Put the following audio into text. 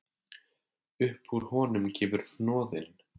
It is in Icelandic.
Upp úr honum kemur hnoðinn